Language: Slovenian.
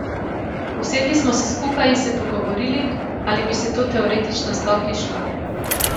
Usedli smo se skupaj in se pogovorili, ali bi se to teoretično sploh izšlo.